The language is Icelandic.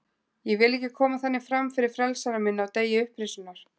Ég vil ekki koma þannig fram fyrir frelsara minn á degi upprisunnar.